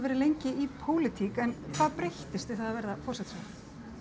verið lengi í pólitík en hvað breyttist við það að verða forsætisráðherra